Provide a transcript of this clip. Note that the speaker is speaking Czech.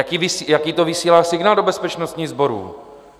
Jaký to vysílá signál do bezpečnostních sborů?